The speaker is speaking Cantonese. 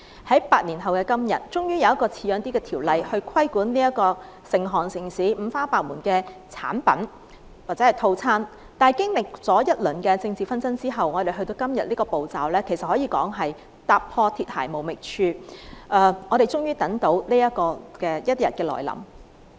在8年後的今天，終於有一項比較像樣的條例規管成行成市、五花八門的美容產品或套餐，但經歷一輪政治紛爭之後，我們才到了今天這個程序，可說是踏破鐵鞋無覓處，我們終於等到這一天來臨。